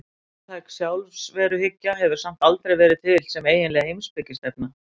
Róttæk sjálfsveruhyggja hefur samt aldrei verið til sem eiginleg heimspekistefna.